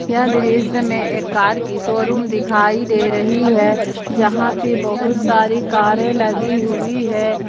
यह दृश्य में एक कार की शोरूम दिखाई दे रही है जहां पे बहुत सारे कारे लगी हुई है।